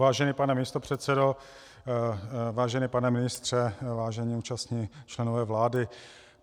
Vážený pane místopředsedo, vážený pane ministře, vážení účastní členové vlády.